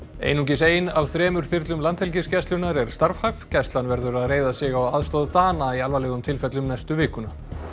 einungis ein af þremur þyrlum Landhelgisgæslunnar er starfhæf gæslan verður að reiða sig á aðstoð Dana í alvarlegum tilfellum næstu vikuna